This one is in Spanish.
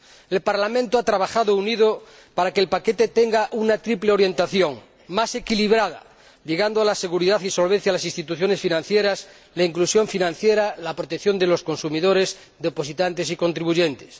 El Parlamento ha trabajado unido para que el paquete tenga una triple orientación más equilibrada, llegando a la seguridad y solvencia de las instituciones financieras, la inclusión financiera y la protección de los consumidores, depositantes y contribuyentes